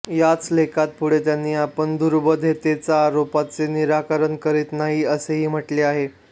याच लेखात पुढे त्यांनी आपण दुर्बोधतेच्या आरोपाचे निराकरण करीत नाही असेही म्हटलेले आहे